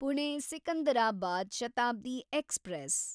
Pune Secunderabad Shatabdi express